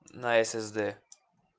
на с с д